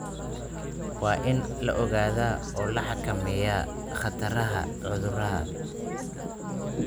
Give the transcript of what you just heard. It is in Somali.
Waa in la ogaadaa oo la xakameeyaa khataraha cudurrada.